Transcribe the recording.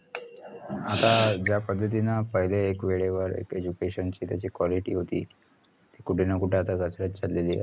आता ज्या पद्धतीनं पहिले एक वेळेवर एक education ची त्याची quality होती ती आता कुठेनाकुठे घसरत चाललेली ए